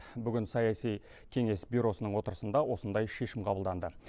бүгін саяси кеңес бюросының отырысында осындай шешім қабылданды